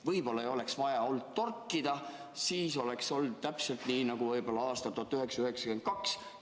Võib-olla ei oleks vaja olnud torkida, siis oleks olnud täpselt nii, nagu võib-olla oli aastal 1992.